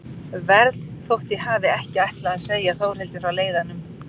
Verð þótt ég hafi ekki ætlað að segja Þórhildi frá leiðanum.